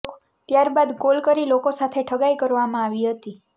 ત્યારબાદ કોલ કરી લોકો સાથે ઠગાઈ કરવામાં આવી હતી